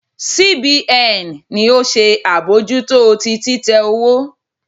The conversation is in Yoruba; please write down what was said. C B N ni o se abojuto ti titẹ owo